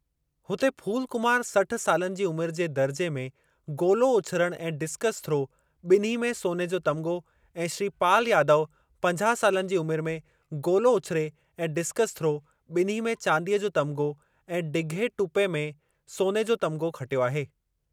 हुते, फूल कुमार सठ सालनि जी उमिरि जे दर्जे में गोलो उछिरणु ऐं डिस्कस थ्रो, बि॒न्ही में सोने जो तमिग़ो ऐं श्री पाल यादव पंजाह सालनि जी उमिरि में गोलो उछिरे ऐं डिस्कसथ्रो, बि॒न्ही में चांदीअ जो तमिग़ो ऐं ढिघे टुपे में सोने जो तमिग़ो खटियो आहे।